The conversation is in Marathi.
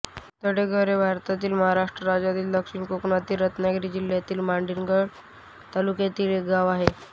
तळेघर हे भारतातील महाराष्ट्र राज्यातील दक्षिण कोकणातील रत्नागिरी जिल्ह्यातील मंडणगड तालुक्यातील एक गाव आहे